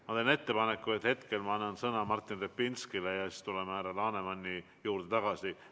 Ma teen ettepaneku, et annan praegu sõna Martin Repinskile ja siis tuleme härra Lanemani juurde tagasi.